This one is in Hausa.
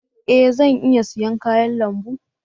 E! Zan iya siyan kayan lambu.